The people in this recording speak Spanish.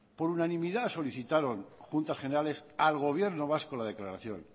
por unanimidad solicitaron a juntas generales al gobierno vasco la declaración